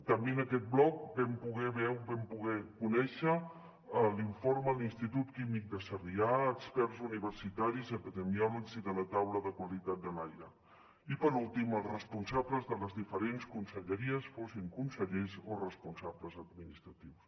també en aquest bloc vam poder conèixer l’informe de l’institut químic de sarrià experts universitaris epidemiòlegs i de la taula de qualitat de l’aire i per últim els responsables de les diferents conselleries fossin consellers o responsables administratius